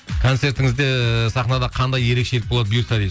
концертіңізде сахнада қандай ерекшеліктер болады бұйыртса дейді